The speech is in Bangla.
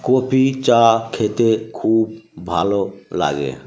কপি চা খেতে খুব ভালো লাগে ।